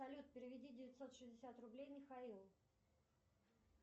салют переведи девятьсот шестьдесят рублей михаилу